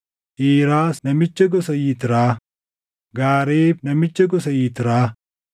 Iiraas namicha gosa Yitraa, Gaareeb namicha gosa Yitraa,